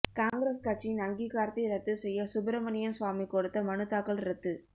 காங்கிரஸ் கட்சியின் அங்கீகாரத்தை ரத்து செய்ய சுப்ரமணியன் சுவாமி கொடுத்த மனுதாக்கல் ரத்து